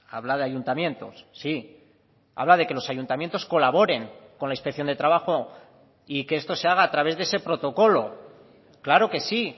habla de ayuntamientos sí habla de que los ayuntamientos colaboren con la inspección de trabajo y que esto se haga a través de ese protocolo claro que sí